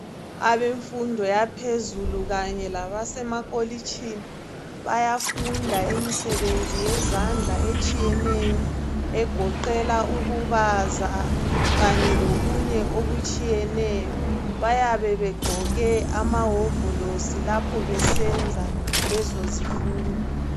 Abefundo waphezulu kanye labasemakholitshini bayafunda imisebenzi yezandla etshiyeneyo ngegoqela ukubaza kanye lokunye okutshiyeneyo bayabe begqoke amawovolosi lapho besenza lezo zifundo